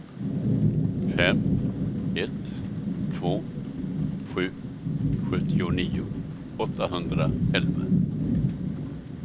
fem ett två sju sjuttionio åttahundraelva